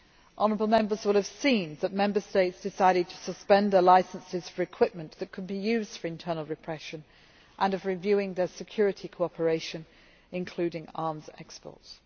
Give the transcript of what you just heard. Honourable Members will have seen that Member States decided to suspend their licences for equipment that could be used for internal repression and are reviewing their security cooperation including arms exports.